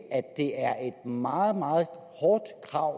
er et meget meget hårdt krav at